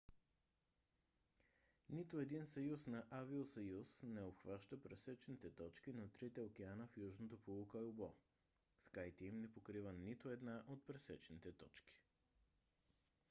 нито един съюз на авиосъюз не обхваща пресечните точки на трите океана в южното полукълбо skyteam не покрива нито една от пресечните точки